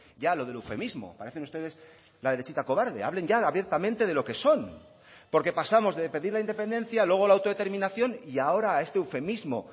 ya lo del eufemismo parecen ustedes la derechita cobarde hablen ya abiertamente de lo que son porque pasamos de pedir la independencia luego la autodeterminación y ahora este eufemismo